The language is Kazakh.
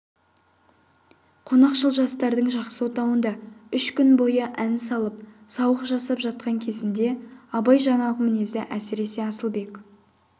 қонақшыл жастардың жақсы отауында үш күн бойы ән салып сауық жасап жатқан кезінде абай жаңағы мінезді әсіресе асылбек